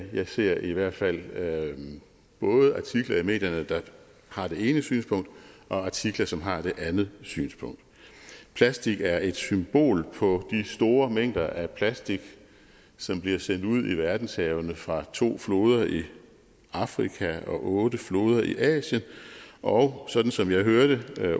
jeg ser i hvert fald både artikler i medierne der har det ene synspunkt og artikler som har det andet synspunkt plastik er et symbol på de store mængder af plastik som bliver sendt ud i verdenshavene fra to floder i afrika og otte floder i asien og sådan som jeg hørte